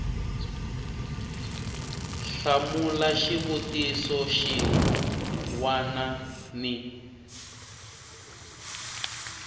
hlamula xivutiso xin wana ni